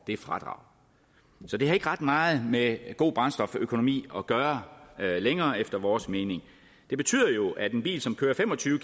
det fradrag så det har ikke ret meget med god brændstoføkonomi at gøre længere efter vores mening det betyder jo at en bil som kører fem og tyve